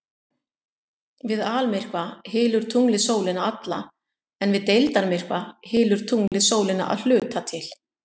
Við almyrkva hylur tunglið sólina alla en við deildarmyrkva hylur tunglið sólina að hluta til.